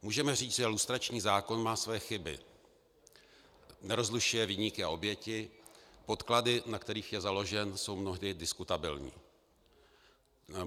Můžeme říct, že lustrační zákon má své chyby - nerozlišuje viníky a oběti, podklady, na kterých je založen, jsou mnohdy diskutabilní.